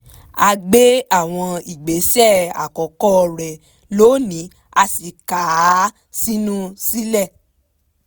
ó gbé àwọn ìgbésẹ̀ àkọ́kọ́ rẹ̀ lónìí a sì ká a sínú sílẹ̀